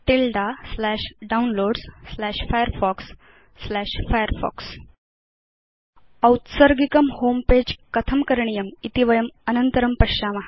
तिल्दे Downloadsfirefoxfirefox औत्सर्गिकं homepage कथं करणीयम् इति वयम् अनन्तरं पश्याम